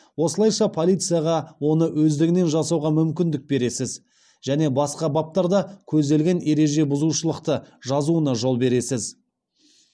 осылайша полицияға оны өздігінен жасауға мүмкіндік бересіз және басқа баптарда көзделген ереже бұзушылықты жазуына жол бересіз